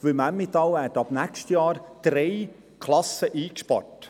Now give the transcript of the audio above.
Denn im Emmental werden im nächsten Jahr drei Klassen eingespart.